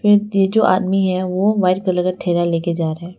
ये जो आदमी है वो व्हाइट कलर का थैला लेकर जा रहा है।